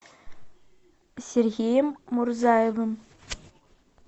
сергеем мурзаевым